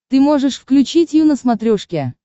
ты можешь включить ю на смотрешке